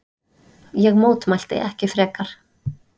Ég mótmælti ekki frekar.